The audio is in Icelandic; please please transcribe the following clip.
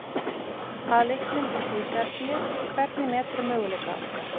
Að leiknum úti í Serbíu, hvernig meturðu möguleika okkar?